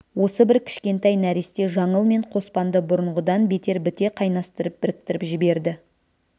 осы бір кішкентай нәресте жаңыл мен қоспанды бұрынғыдан бетер біте қайнастырып біріктіріп жіберді